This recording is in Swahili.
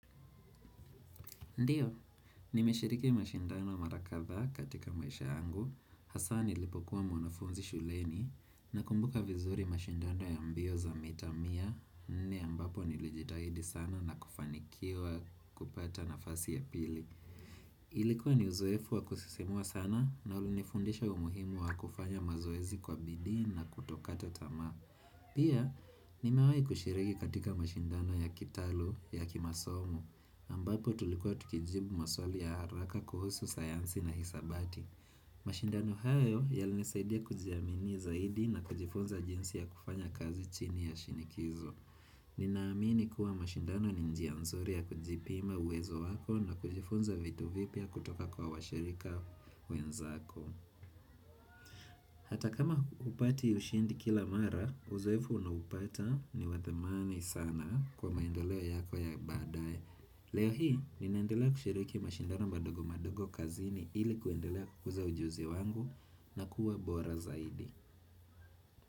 Ndiyo, nimeshiriki mashindano mara kadhaa katika maisha yangu, hasa nilipokuwa mwanafunzi shuleni, na kumbuka vizuri mashindano ya mbio za mita mia, nne ambapo nilijidahidi sana na kufanikiwa kupata nafasi ya pili. Ilikuwa ni uzoefu wa kusisimua sana na ulinifundisha umuhimu wa kufanya mazoezi kwa bidii na kutokata tama. Pia, nimewahi kushiregi katika mashindano ya kitalu ya kimasomo ambapo tulikuwa tukijibu maswali ya haraka kuhusu sayansi na hisabati mashindano hayo yalinisaidia kujiaminia zaidi na kujifunza jinsi ya kufanya kazi chini ya shinikizo Ninaamini kuwa mashindano ni njia nzuri ya kujipima uwezo wako na kujifunza vitu vipya kutoka kwa washirika wenzako Hata kama hupati ushindi kila mara, uzoefu unaupata ni wa thamani sana kwa maendoleo yako ya badaye. Leo hii, ninaendelea kushiriki mashindano madogo madogo kazini ili kuendelea kukuza ujuzi wangu na kuwa bora zaidi.